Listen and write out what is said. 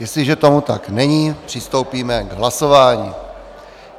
Jestliže tomu tak není, přistoupíme k hlasování.